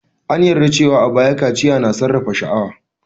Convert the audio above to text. An yarda cewa a baya, kaciya na sarrafa sha'awa.